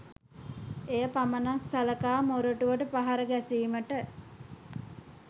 එය පමණක් සලකා මොරටුවට පහර ගැසීමට